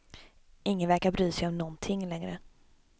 Ingen verkar bry sig om nånting längre.